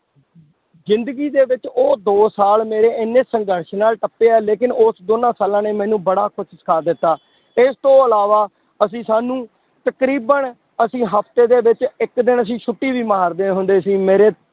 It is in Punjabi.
ਜ਼ਿੰਦਗੀ ਦੇ ਵਿੱਚ ਉਹ ਦੋ ਸਾਲ ਮੇਰੇ ਇੰਨੇ ਸੰਘਰਸ਼ ਨਾਲ ਟੱਪੇ ਆ ਲੇਕਿੰਨ ਉਸ ਦੋਨਾਂ ਸਾਲਾਂ ਨੇ ਮੈਨੂੰ ਬੜਾ ਕੁਛ ਸਿੱਖਾ ਦਿੱਤਾ, ਇਸ ਤੋਂ ਇਲਾਵਾ ਅਸੀਂ ਸਾਨੂੰ ਤਕਰੀਬਨ ਅਸੀਂ ਹਫ਼ਤੇ ਦੇ ਵਿੱਚ ਇੱਕ ਦਿਨ ਅਸੀਂ ਛੁੱਟੀ ਵੀ ਮਾਰਦੇ ਹੁੰਦੇ ਸੀ ਮੇਰੇ